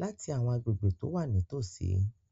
láti àwọn agbègbè tó wà nítòsí.